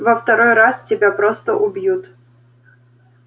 во второй раз тебя просто убьют